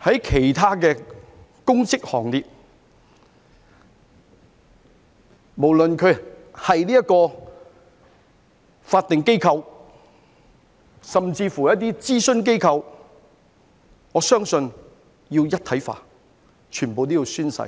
參與其他公職行列，無論是法定機構甚至諮詢機構，我相信都要一體化，全部都要宣誓。